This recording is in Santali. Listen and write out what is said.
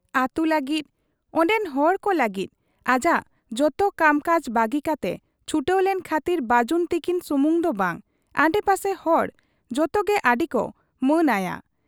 ᱟᱹᱛᱩ ᱞᱟᱹᱜᱤᱫ ᱚᱱᱰᱮᱱ ᱦᱚᱲᱠᱚ ᱞᱟᱹᱜᱤᱫ ᱟᱡᱟᱜ ᱡᱚᱛᱚ ᱠᱟᱢᱠᱟᱡᱽ ᱵᱟᱹᱜᱤ ᱠᱟᱛᱮ ᱪᱷᱩᱴᱟᱹᱣ ᱞᱮᱱ ᱠᱷᱟᱹᱛᱤᱨ ᱵᱟᱹᱡᱩᱱ ᱛᱤᱠᱤᱱ ᱥᱩᱢᱩᱝ ᱫᱚ ᱵᱟᱝ, ᱟᱰᱮᱯᱟᱥᱮ ᱦᱚᱲ ᱡᱚᱛᱚᱜᱮ ᱟᱹᱰᱤᱠᱚ ᱢᱟᱹᱱ ᱟᱭᱟ ᱾